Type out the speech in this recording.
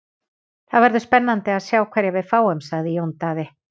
Það verður spennandi að sjá hverja við fáum, sagði Jón Daði.